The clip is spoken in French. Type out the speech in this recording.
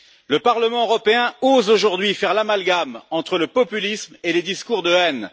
Le Parlement européen ose aujourd'hui faire l'amalgame entre le populisme et les discours de haine.